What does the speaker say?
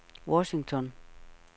Washington